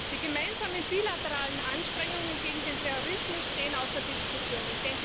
Die gemeinsamen bilateralen Anstrengungen gegen den Terrorismus stehen außer Diskussion.